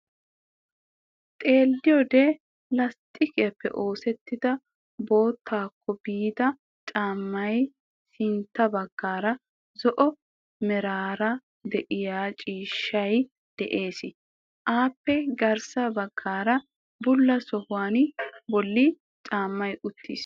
Xeelliyoode lasttiqiyaappe oosettida boottaako biida caammay sintta baggaara zo'o meraara de'iyaa ciishshay de'ees. Appe garssa baggaara bulla sohuwaa bolli caammay uttis.